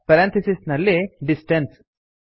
parenthesis ನಲ್ಲಿ distance